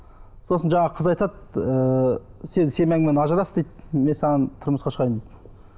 сосын жаңағы қыз айтады ыыы сен семьяңмен ажырас дейді мен саған тұрмысқа шығайын дейді